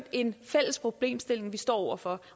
en fælles problemstilling vi står over for